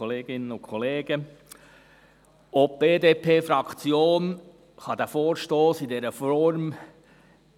Auch die BDP-Fraktion kann diesen Vorstoss in dieser Form